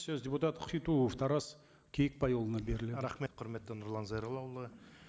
сөз депутат хитуов тарас кейікбайұлына беріледі рахмет құрметті нұрлан зайроллаұлы